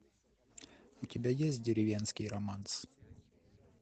у тебя есть деревенский романс